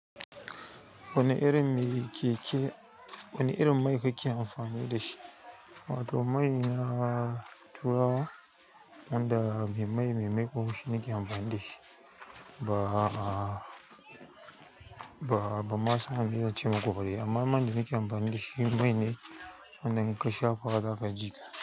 Wane irin mai keke-- wane irin mai kake amfani da shi? Wato mai na turawa, wanda me mai, me mai ko shi nake amfani da shi ba, ba, ban masan ame zan ce maku ba ne. Amma man da nake amfani da shi mai ne, wannan kasha fara ka ji.